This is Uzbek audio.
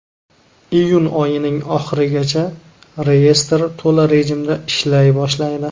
Iyun oyining oxirigacha reyestr to‘la rejimda ishlay boshlaydi.